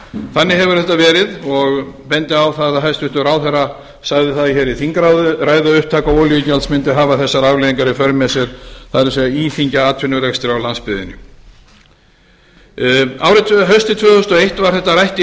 þannig hefur þetta verið og ég bendi á að hæstvirtur ráðherra sagði það í þingræðu að upptaka olíugjalds mundi hafa þessar afleiðingar í för með sér það er íþyngja atvinnurekstri á landsbyggðinni haustið tvö þúsund og eitt var þetta rætt í